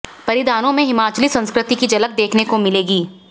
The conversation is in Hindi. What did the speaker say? परिधानों में हिमाचली संस्कृति की झलक देखने को मिलेगी